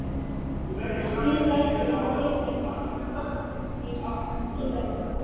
Stríð lætur hið fyrrnefnda hlýða því síðarnefnda.